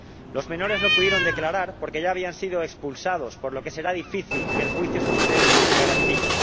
Los menores no pudieron declarar porque ya habían sido expulsados, por lo que será difícil que el juicio se celebre con garantías.